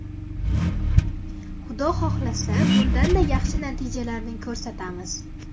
Xudo xohlasa, bundanda yaxshi natijalarni ko‘rsatamiz.